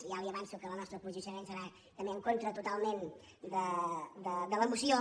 ja li avanço que el nostre posicionament serà també en contra totalment de la moció